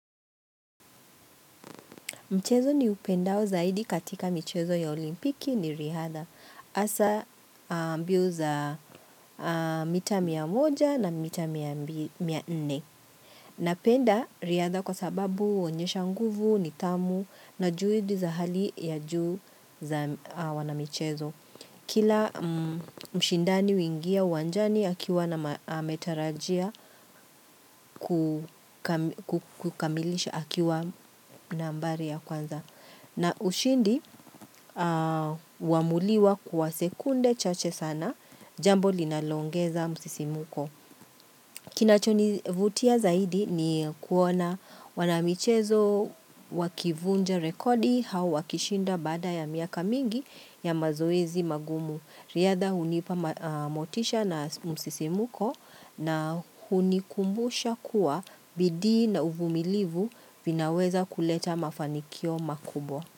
Mchezo niupendao zaidi katika michezo ya olimpiki ni riadha. Asa mbio za mita mia moja na mita mia nne. Napenda riadha kwa sababu uonyesha nguvu, nitamu na juidi za hali ya juu za wana michezo. Kila mshindani huingia uwanjani akiwa na ametarajia ku kukamilisha akiwa nambari ya kwanza. Na ushindi wamuliwa kuwa sekunde chache sana jambo linalo ongeza msisimko. Kinachonivutia zaidi ni kuona wanamichezo wakivunja rekodi au wakishinda baada ya miaka mingi ya mazoezi magumu. Riadha hunipa motisha na msisimko na hunikumbusha kuwa bidi na uvumilivu vinaweza kuleta mafanikio makubwa.